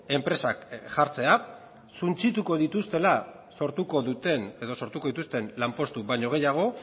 enpresak jartzea suntsituko dituztela sortuko dituzten lanpostu baino gehiago